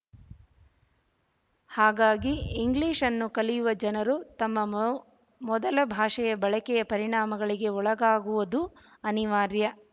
ಹಾಗಾಗಿ ಇಂಗ್ಲೀಷ್ ಅನ್ನು ಕಲಿಯುವ ಜನರು ತಮ್ಮ ಮೌ ಮೊದಲ ಭಾಷೆಯ ಬಳಕೆಯ ಪರಿಣಾಮಗಳಿಗೆ ಒಳಗಾಗುವುದು ಅನಿವಾರ್ಯ